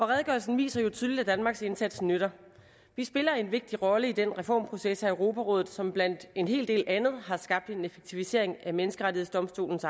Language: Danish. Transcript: redegørelsen viser jo tydeligt at danmarks indsats nytter vi spiller en vigtig rolle i den reformproces i europarådet som blandt en hel del andet har skabt en effektivisering af menneskerettighedsdomstolens